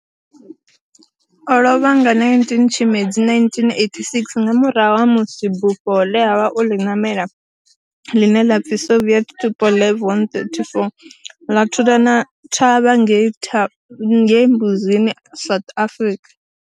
O lovha nga 19 Tshimedzi 1986 nga murahu ha musi bufho le a vha o li namela, line la pfi Soviet Tupolev 134 la thulana thavha ngei Mbuzini, South Africa.